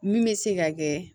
Min bɛ se ka kɛ